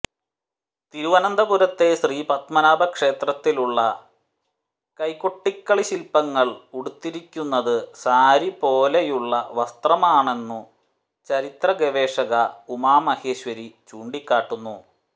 തിരുവനന്തപുരത്തെ ശ്രീപത്മനാഭ ക്ഷേത്രത്തിലുള്ള കൈകൊട്ടിക്കളി ശിൽപങ്ങൾ ഉടുത്തിരിക്കുന്നത് സാരി പോലെയുള്ള വസ്ത്രമാണെന്നു ചരിത്ര ഗവേഷക ഉമ മഹേശ്വരി ചൂണ്ടിക്കാട്ടുന്നു